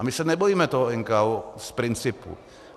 A my se nebojíme toho NKÚ z principu.